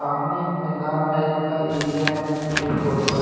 सामने एक मैदान टाइप का एरिया है जहाँ से ये फोटो है।